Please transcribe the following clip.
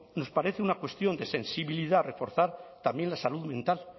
nos parece una cuestión de sensibilidad reforzar también la salud mental